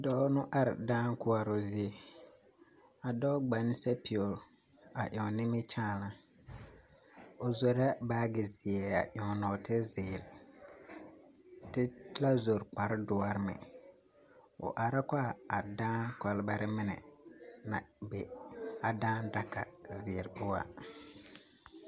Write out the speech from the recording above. Doɔ nu are daã kuoro zie. A doɔ gban sapiero a eŋ nimikyaana. O zɔreɛ baagi ziɛ a eŋ norte ziire. Te la zɔr kpar duor meŋ. O are kɔ a daã kolbare mene na be a daã daka zir poʊ a